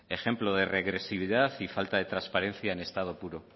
ejemplo de regresividad y falta de transparencia en estado puro